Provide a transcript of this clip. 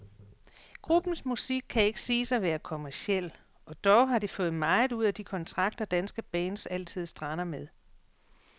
Gruppens musik kan ikke siges at være kommerciel, og dog har de fået meget ud af de kontrakter, danske bands altid strander med.